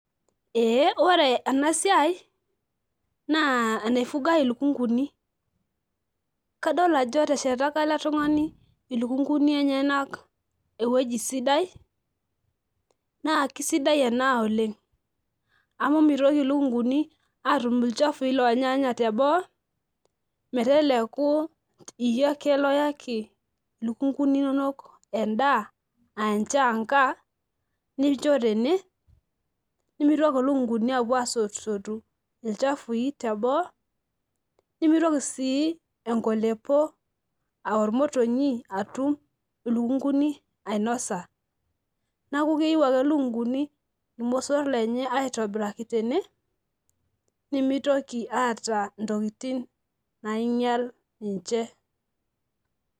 Ee ore enasiai na enaifugai ilukunguni, kadolta ajo eteshetaka eletungani ilukunguni enyenak ewieji sidai na kesidai ena oleng amu mitoki lukunguni atumbolchafu lonyaanya teboo meteleku iyie ake nayaki ilukunguni inonok endaa anchanga ninchobtene nimitoki lukunguni apuo asotu lchafui teboo nimitoki si enkolepo a ormoronyi atum ilukunguni ainosa neaku keeiu ake lukunguni irmosor lenye tene nimitoki aata ntokitin nainyal ninche.